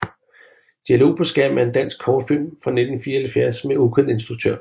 Dialog på skærmen er en dansk kortfilm fra 1974 med ukendt instruktør